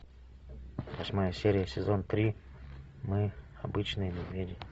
восьмая серия сезон три мы обычные медведи